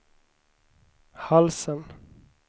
halsen